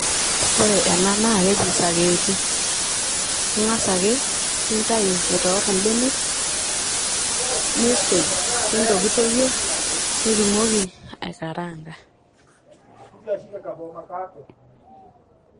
ore ena naa keji sakeeti . ingas ake nintau aitoor imbenek ,nisuj ,nintokitokie ,nitumoki aikaraanga.